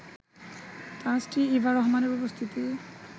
তাঁর স্ত্রী ইভা রহমানের উপস্থিতি